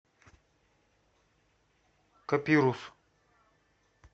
копирус